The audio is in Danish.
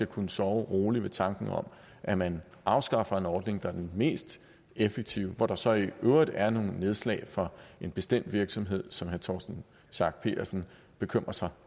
kunne sove roligt ved tanken om at man afskaffer en ordning der er den mest effektive hvor der så i øvrigt er nogle nedslag for en bestemt virksomhed som herre torsten schack pedersen bekymrer sig